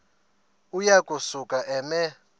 uya kusuka eme